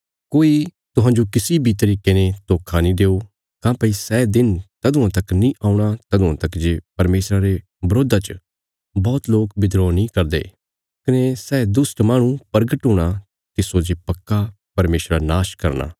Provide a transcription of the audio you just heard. कोई तुहांजो किसी बी तरिके ने धोखा नीं देओ काँह्भई सै दिन तदुआं तक नीं औणा तदुआं तक जे परमेशरा रे बरोधा च बौहत लोक बिद्रोह नीं करदे कने सै दुष्ट माहणु प्रगट हूणा तिस्सो जे पक्का परमेशरा नाश करना